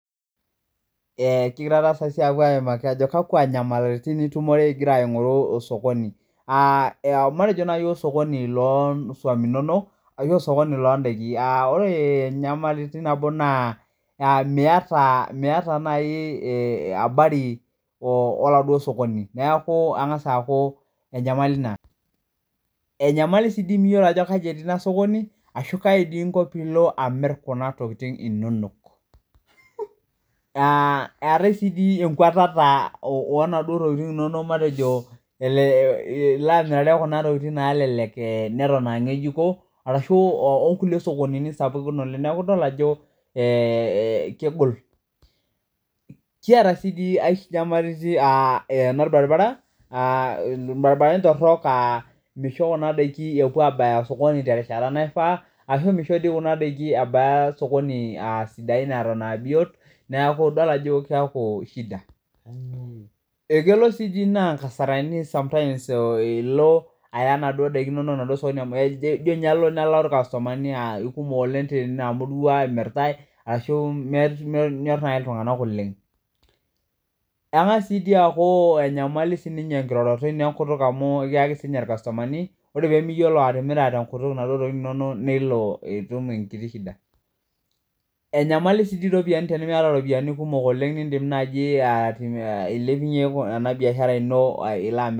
Ee kigira apuo aimaki kakwa nyamalitin iimarwbingira aingoru osokoni matejo nai ashu osokoni lindakin ore nyamalitin nabo na miata nai abari oladuo sokoni na kengasa aaku enyanali ina enyamali sii amu myiolo eneti enasokoni nakainko pilo amir kuna tokitin inonok eetae si enkwatata ilo amirare kuna tokitin nelelek aa neton aa ngejuko ashu onkukie sokonini sapukin kiata si nyamalitin torok aa kisho kuna dakin epuo abaya osokoni atan aaa biot neaku idol ajo shdia ekelo si naa nkasarani iko aya osokoni kelo nijo alo nilau irkastomani amu irua emiritae ashu nepash ltunganak oleng ore pemiyiolo atimira kuna tokitin inonok nelo atum shida enyamali si enimiata ropiyani amu indim ailepunye enabiashara ino ilo amir